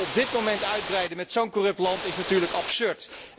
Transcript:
Op dit moment uitbreiden met zo'n corrupt land is natuurlijk absurd.